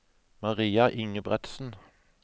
Maria Ingebretsen